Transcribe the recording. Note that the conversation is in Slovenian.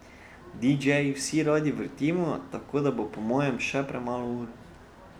Didžeji vsi radi vrtimo, tako da bo po mojem še premalo ur.